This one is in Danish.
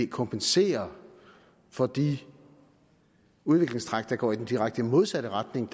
kompensere for de udviklingstræk der går i den direkte modsat retning